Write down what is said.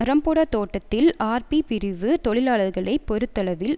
ரம்பொட தோட்டத்தில் ஆர்பி பிரிவு தொழிலாளர்களை பொறுத்தளவில்